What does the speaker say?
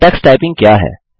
Tux typing क्या है